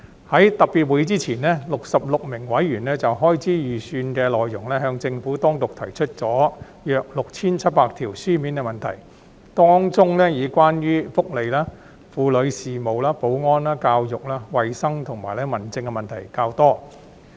在特別會議前 ，66 名委員就開支預算的內容向政府當局提出共約 6,700 條書面問題，當中以關於福利及婦女事務、保安、教育、衞生，以及民政的問題較多。